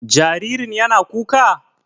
Jaririn yana kuka?